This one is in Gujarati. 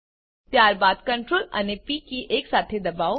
ત્યારબાદ Ctrl અને પ કી એકસાથે દબાવો